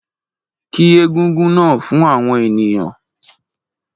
Kí egúngún náà fún àwọn ènìyàn